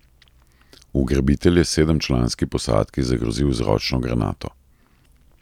Ugrabitelj je sedemčlanski posadki zagrozil z ročno granato.